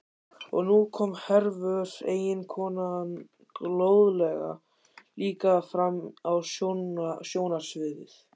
Og nú kom Hervör, eiginkonan góðlega, líka fram á sjónarsviðið.